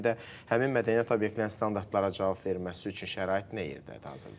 Bir də həmin mədəniyyət obyektlərinin standartlara cavab verilməsi üçün şərait nə yerdədir hazırda?